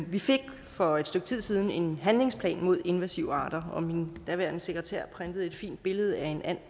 vi fik for et stykke tid siden en handlingsplan mod invasive arter og min daværende sekretær printede et fint billede af